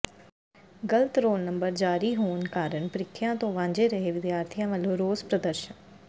ਗ਼ਲਤ roll number ਜਾਰੀ ਹੋਣ ਕਾਰਨ ਪ੍ਰੀਖਿਆ ਤੋਂ ਵਾਂਝੇ ਰਹੇ ਵਿਦਿਆਰਥੀਆਂ ਵਲੋਂ ਰੋਸ ਪ੍ਰਦਰਸ਼ਨ